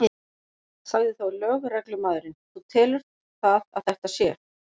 Sagði þá lögreglumaðurinn: Þú telur það að þetta sé?